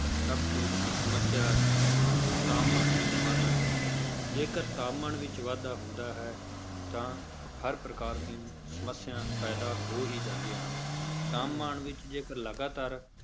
ਸਭ ਤੋਂ ਵੱਡੀ ਸਮੱਸਿਆ ਤਾਪਮਾਨ ਵਿੱਚ ਵਾਧਾ ਹੈ, ਜੇਕਰ ਤਾਪਮਾਨ ਵਿੱਚ ਵਾਧਾ ਹੁੰਦਾ ਹੈ ਤਾਂ ਹਰ ਪ੍ਰਕਾਰ ਦੀਆਂ ਸਮੱਸਿਆਂ ਪੈਦਾ ਹੋ ਹੀ ਜਾਂਦੀਆਂ ਹਨ, ਤਾਪਮਾਨ ਵਿੱਚ ਜੇਕਰ ਲਗਾਤਾਰ